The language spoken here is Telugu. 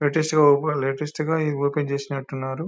లేటెస్ట్ లేటెస్ట్ గా ఇవి ఓపెన్ చేసినట్టు ఉన్నారు.